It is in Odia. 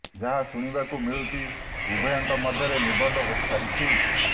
ଯାହା ଶୁଣିବାକୁ ମିଳିଛି ଉଭୟଙ୍କ ମଧ୍ୟରେ ନିର୍ବନ୍ଧ ହୋଇ ସାରିଛି